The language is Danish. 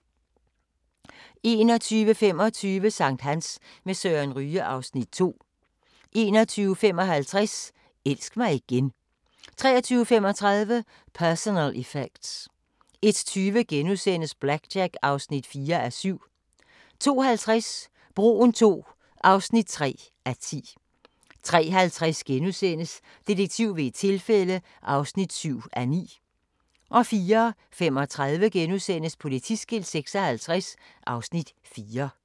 21:25: Sankthans med Søren Ryge (Afs. 2) 21:55: Elsk mig igen 23:35: Personal Effects 01:20: BlackJack (4:7)* 02:50: Broen II (3:10) 03:50: Detektiv ved et tilfælde (7:9)* 04:35: Politiskilt 56 (Afs. 4)*